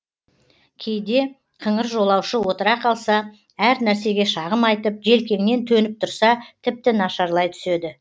кейде қыңыр жолаушы отыра қалса әр нәрсеге шағым айтып желкеңнен төніп тұрса тіпті нашарлай түседі